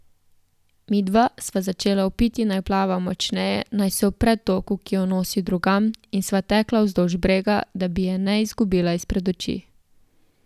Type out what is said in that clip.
Midva sva začela vpiti, naj plava močneje, naj se upre toku, ki jo nosi drugam, in sva tekla vzdolž brega, da bi je ne izgubila izpred oči.